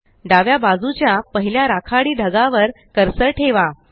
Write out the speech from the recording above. डाव्या बाजूच्या पहिल्या राखाडी ढगावर कर्सर ठेवा